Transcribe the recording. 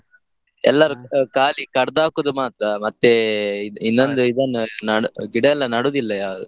ಖಾಲಿ ಕಡ್ದ ಹಾಕುದು ಮಾತ್ರ, ಇನ್ನೊಂದು ಇದನ್ನು ನಡು~, ಗಿಡ ಎಲ್ಲ ನೆಡುದಿಲ್ಲ ಯಾರು.